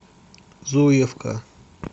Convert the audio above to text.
зуевка